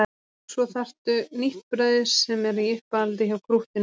Svo þarftu nýtt brauð sem er í uppáhaldi hjá krúttinu þínu.